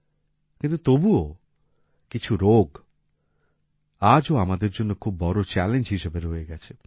কিন্তু তবুও কিছু রোগ আজও আমাদের জন্য খুব বড় চ্যালেঞ্জ হিসাবে রয়ে গেছে